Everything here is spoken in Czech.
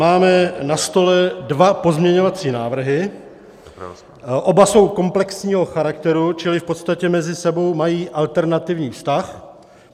Máme na stole dva pozměňovací návrhy, oba jsou komplexního charakteru, čili v podstatě mezi sebou mají alternativní vztah.